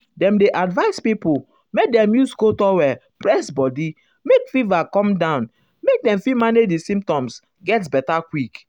dem dey advise pipo make dem use cold towel press um body make fever come down make dem fit manage di symptoms um get beta quick.